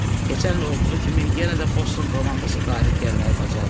Keçən il olduğu kimi yenə də Boston komandası qalib gəlməyi bacardı.